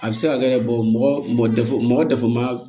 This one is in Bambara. A bɛ se ka kɛ yɛrɛ mɔgɔ mɔgɔ dafa man